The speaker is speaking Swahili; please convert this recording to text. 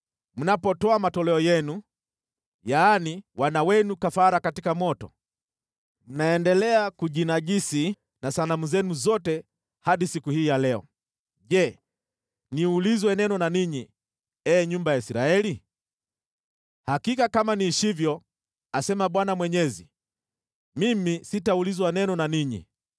Mnapotoa matoleo yenu, yaani, wana wenu kafara katika moto, mnaendelea kujinajisi na sanamu zenu zote hadi siku hii ya leo. Je, niulizwe neno na ninyi, ee nyumba ya Israeli? Hakika kama niishivyo, asema Bwana Mwenyezi, mimi sitaulizwa neno na ninyi.